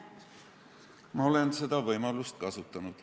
Ma olen seda võimalust kasutanud.